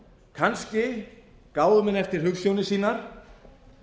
kannski gáfu menn eftir hugsjónir sínar